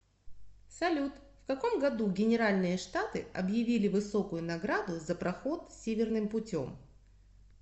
салют в каком году генеральные штаты объявили высокую награду за проход северным путем